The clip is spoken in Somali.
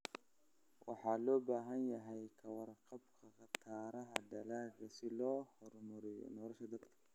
Waxaa loo baahan yahay ka warqabka khataraha dalagga si loo horumariyo nolosha dadka.